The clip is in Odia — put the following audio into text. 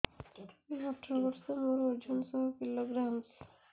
ମୁଁ ଅଠର ବର୍ଷ ମୋର ଓଜନ ଶହ କିଲୋଗ୍ରାମସ